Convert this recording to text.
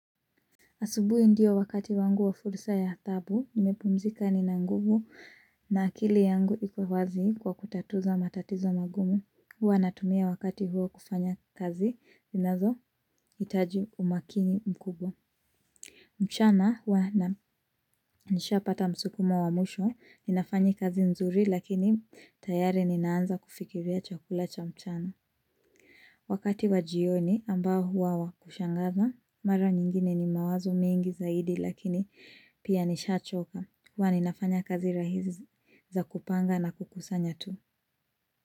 Asubui ndio wakati wangu wa fursa ya tabu, nimepumzika nina nguvu na akili yangu iko wazi kwa kutatuzo matatizo magumu. Huwa natumia wakati huo kufanya kazi, zinazo itaji umakini mkubwa. Mchana huwa na nishapata msukumo wa mwisho, ninafanyi kazi nzuri lakini tayari ninaanza kufikiria chakula cha mchana. Wakati wa jioni ambao huwa wakushangaza Mara nyingine ni mawazo mengi zaidi lakini pia nishachoka Huwa ninafanya kazi rahisi za kupanga na kukusanya tu.